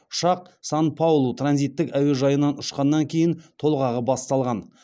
ұшақ сан паулу транзиттік әуежайынан ұшқаннан кейін толғағы басталған